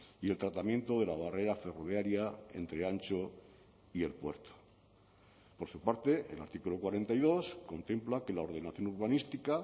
y el tratamiento de la barrera ferroviaria entre antxo y el puerto por su parte el artículo cuarenta y dos contempla que la ordenación urbanística